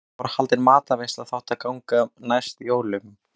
Þá var haldin matarveisla sem þótti ganga næst jólunum.